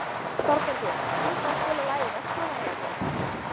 Þorbergur, kanntu að spila lagið „Vestmannaeyjabær“?